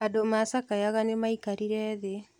Andũ macakayaga nĩmaikarire thĩ.